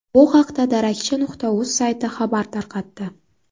Bu haqda darakchi.uz sayti xabar tarqatdi.